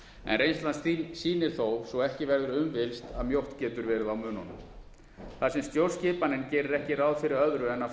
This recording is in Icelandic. en reynslan sýnir þó svo ekki verður um villst að mjótt getur verið á mununum þar sem stjórnskipanin gerir ekki ráð fyrir öðru en að